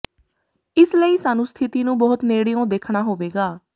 ਇਸ ਲਈ ਸਾਨੂੰ ਸਥਿਤੀ ਨੂੰ ਬਹੁਤ ਨੇੜਿਓਂ ਦੇਖਣਾ ਹੋਵੇਗਾ